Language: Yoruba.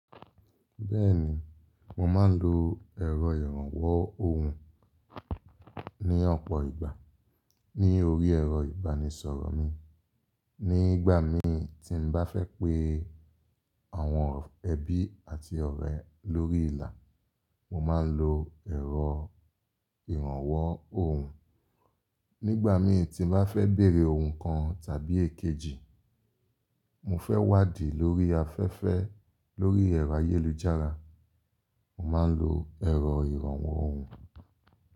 Bẹ́ẹ̀ni, mo máa ń lo ẹ̀rọ ìrànwọ́ ohùn ní ọ̀pọ̀ ìgbà ní orí ẹ̀rọ ìbánisọ̀rọ̀ mi. Ní ìgbà mi tí n bá fẹ́ pé àwọn ẹbí àti ọ̀rẹ́ lórí ìlà, mo máa ń lo ẹ̀rọ ìrànwọ́ ohùn. Nígbà mi tí n bá fẹ́ béèrè ohùn kan tàbí èkejì, mo fẹ́ wádìí lórí afẹ́fẹ́ lórí ẹ̀rọ ayélujára, mo máa ń lo ẹ̀rọ ìrànwọ́ ohùn.